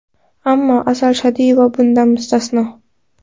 Ammo Asal Shodiyeva bundan mustasno.